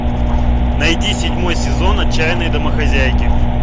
найди седьмой сезон отчаянные домохозяйки